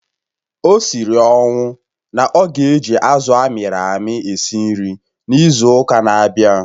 O siri ọnwụ na ọ ga-eji azụ̀ amịrị amị esi nri n'izu ụka na-abịa